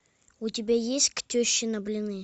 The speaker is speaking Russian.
у тебя есть к теще на блины